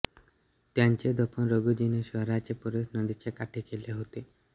त्याचे दफन रघूजीने शहराच्या पूर्वेस नदीच्या काठी केले होते